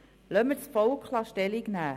Lassen wir das Volk Stellung nehmen.